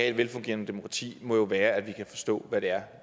et velfungerende demokrati må jo være at vi kan forstå hvad det er